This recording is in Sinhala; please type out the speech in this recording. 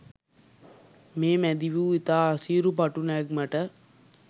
මේ මැදිවූ ඉතා අසීරු පටු නැග්මට